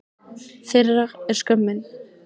Þeirra er skömmin.